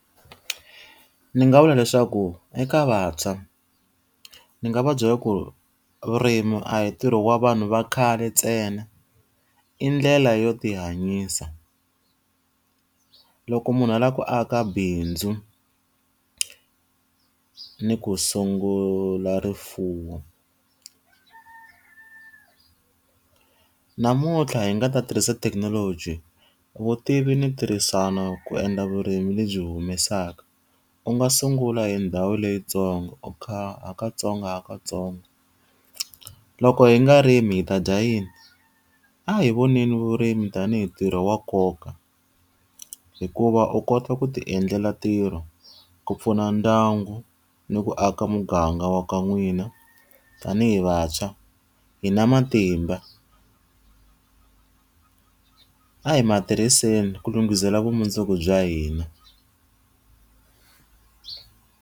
Ndzi nga vula leswaku eka vantshwa ni nga va byela ku vurimi a hi ntirho wa vanhu va khale ntsena, i ndlela yo ti hanyisa. Loko munhu a lava ku aka bindzu ni ku sungula rifuwo. Namuntlha yi nga ta tirhisa thekinoloji vutivi ni tirhisana ku endla vurimi lebyi humesaka, u nga sungula hi ndhawu leyintsongo u kha hakantsongohikantsongo. Loko hi nga rimi hi ta dya yini? A hi voneni vurimi tanihi ntirho wa nkoka. Hikuva u kota ku ti endlela ntirho ku pfuna ndyangu ni ku aka muganga wa ka n'wina. Tanihi vantshwa hi na matimba a hi mati tirhiseni ku lunghisela vumundzuku bya hina.